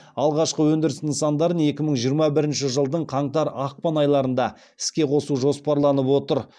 алғашқы өндіріс нысандардын екі мың жиырма бірінші жылдың қаңтар ақпан айларында іске қосу жоспарланып отыр